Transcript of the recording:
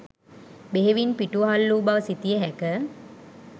බෙහෙවින් පිටුවහල් වූ බව සිතිය හැක.